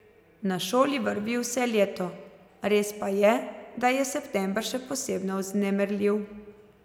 Na šoli vrvi vse leto, res pa je, da je september še posebno vznemirljiv.